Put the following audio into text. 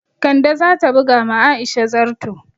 Kande za ta buga ma Aisha zarto